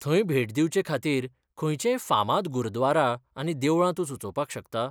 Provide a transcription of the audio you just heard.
थंय भेट दिवचेखातीर खंयचेय फामाद गुरद्वारा आनी देवळां तूं सुचोवपाक शकता?